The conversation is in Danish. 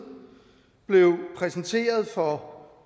blev præsenteret for